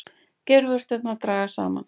Geirvörturnar dragast saman.